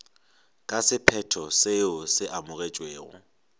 ka sephetho seo se amogetšwego